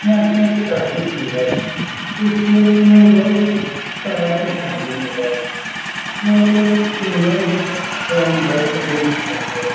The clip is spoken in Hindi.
यह केक काफी सुन्दर है इस केक में बहुत तरह के सामान मिलाए गए यह केक एवं बर्थडे में काटा जाता --